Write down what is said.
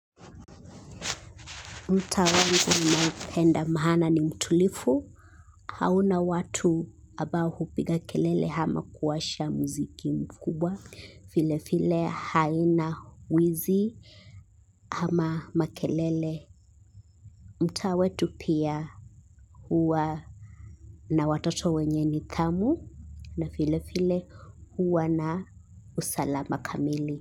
Mtaa wangu ninaupenda mahana ni mtulifu. Hauna watu abao hupiga kelele hama kuwasha muziki mkubwa. File file haina uwizi hama makelele. Mtaawe tu pia huwa na watoto wenye ni dhamu na file file huwa na usalama kamili.